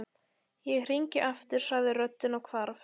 Ég hringi aftur sagði röddin og hvarf.